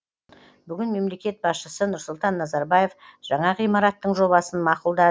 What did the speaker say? бүгін мемлекет басшысы нұрсұлтан назарбаев жаңа ғимараттың жобасын мақұлдады